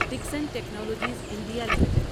Dixon technologies India limited